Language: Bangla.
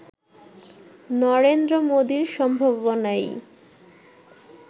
নরেন্দ্র মোদির সম্ভাবনাই